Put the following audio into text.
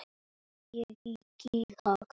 Ég held það